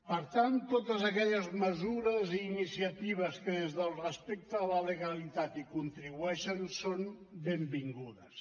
per tant totes aquelles mesures i iniciatives que des del respecte a la legalitat hi contribueixen són benvingudes